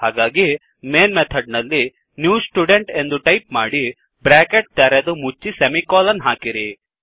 ಹಾಗಾಗಿ main method ನಲ್ಲಿ new student ಎಂದು ಟೈಪ್ ಮಾಡಿ ಬ್ರ್ಯಾಕೆಟ್ ತೆರೆದು ಮುಚ್ಚಿ ಸೆಮಿಕೋಲನ್ ಹಾಕಿರಿ